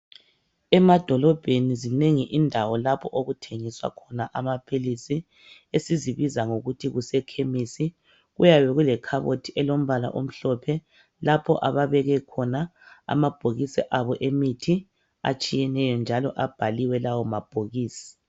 Emadolobheni ezinengi indawo lapho okuthengiswa khona amaphilisi esizibiza ngokuthi kuse khemisi. Kuyabe kulekhabothi elombala omhlophe lapho ababeke khona amabhokisi abo emithi atshiyeneyo njalo abhaliwe lawo mabhokisi.